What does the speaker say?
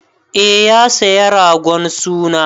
Eh, ya saya ragon suna.